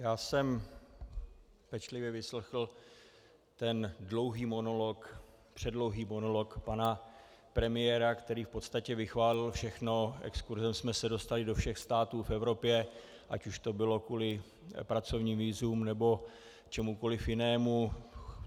Já jsem pečlivě vyslechl ten dlouhý monolog, předlouhý monolog pana premiéra, který v podstatě vychválil všechno, exkurzem jsme se dostali do všech států v Evropě, ať už to bylo kvůli pracovním vízům, nebo čemukoliv jinému.